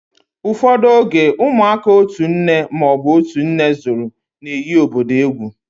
Ụfọdụ oge, ụmụaka otu nne ma ọ bụ otú nne zúru na-eghi obodo egwú